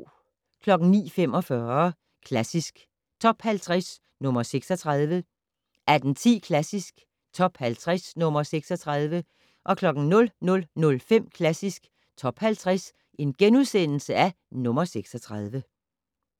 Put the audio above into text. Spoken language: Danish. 09:45: Klassisk Top 50 - nr. 36 18:10: Klassisk Top 50 - nr. 36 00:05: Klassisk Top 50 - nr. 36 *